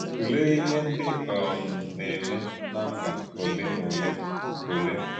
Tùlèé íhè ndí um na-ème ná mbà ọ̀lè na ọ̀lè. ọ̀lè.